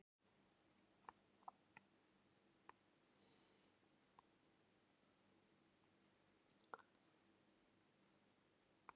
Ég er mjög svekktur með þessa frammistöðu.